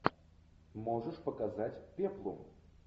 можешь показать пеплум